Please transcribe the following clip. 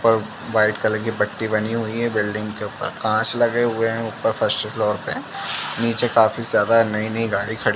ऊपर white colour की पट्टी बनी हुई है। बिल्डिंग के ऊपर कांच लगे हुए हैं ऊपर फर्स्ट फ्लोर पे नीचे काफी ज्यादा नयी-नयी गाडी खड़ी --